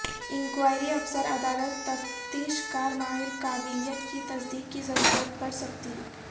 inquiry افسر عدالت تفتیش کار ماہر قابلیت کی تصدیق کی ضرورت پڑ سکتی